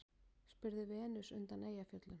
spurði Venus undan Eyjafjöllum.